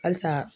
Halisa